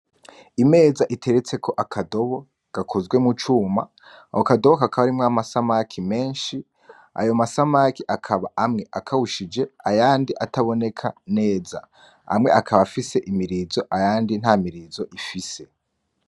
Imeza iteretse ko akadobo gakozwe mu cuma awo akadoboka akaba arimwo amasamaki menshi ayo masamaki akaba amwe akawushije ayandi ataboneka neza amwe akaba afise imirizo ayandi nta mirizo ifise.